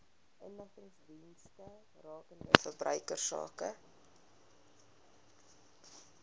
inligtingsdienste rakende verbruikersake